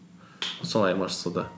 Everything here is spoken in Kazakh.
сол айырмашылығы